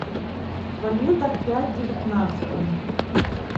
валюта в пять девятнадцатом